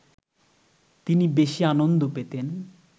তিনি বেশি আনন্দ পেতেন